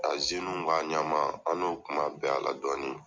A ka ɲɛma an n'o kun ma bɛn a la dɔɔni.